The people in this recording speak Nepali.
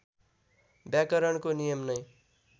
व्याकरणको नियम नै